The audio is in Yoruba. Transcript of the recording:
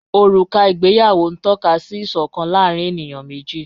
Ọruka igbèyàwó n tọ̀kà sí ìṣọkan láàrín ènìyàn meji